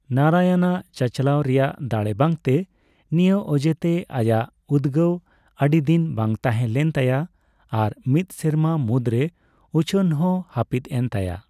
ᱱᱟᱨᱟᱭᱚᱱ ᱟᱜ ᱪᱟᱪᱟᱞᱟᱣ ᱨᱮᱭᱟᱜ ᱫᱟᱲᱮ ᱵᱟᱝᱛᱮ ᱱᱤᱭᱟᱹ ᱚᱡᱮᱛᱮ ᱟᱭᱟᱜ ᱩᱫᱜᱟᱹᱣ ᱟᱹᱰᱤᱫᱤᱱ ᱵᱟᱝ ᱛᱟᱸᱦᱮ ᱞᱮᱱ ᱛᱟᱭᱟ ᱟᱨ ᱢᱤᱥ ᱥᱮᱨᱢᱟ ᱢᱩᱫᱨᱮ ᱩᱪᱷᱟᱹᱱ ᱦᱚᱸ ᱦᱟᱯᱤᱫ ᱮᱱ ᱛᱟᱭᱟ ᱾